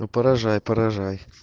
ну поражай поражай